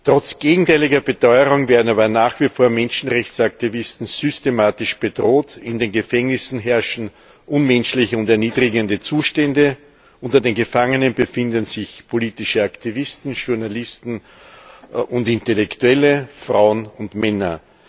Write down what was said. Trotz gegenteiliger Beteuerung werden aber nach wie vor Menschenrechtsaktivisten systematisch bedroht, in den Gefängnissen herrschen unmenschliche und erniedrigende Zustände, unter den Gefangenen befinden sich politische Aktivisten, Journalisten und Intellektuelle, Frauen und Männer.